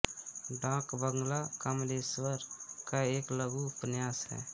डाक बंगला कमलेश्वर का एक लघु उपन्यास है